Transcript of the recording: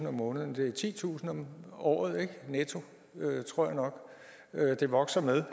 om måneden det er titusind om året netto tror jeg nok det vokser med